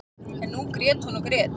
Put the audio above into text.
En nú grét hún og grét.